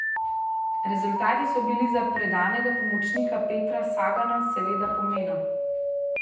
Rezultati so bili za predanega pomočnika Petra Sagana seveda pomena.